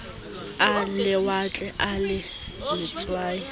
a lewatle a le letswai